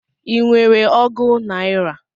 I nwere ọgu naira?